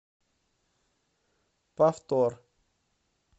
повтор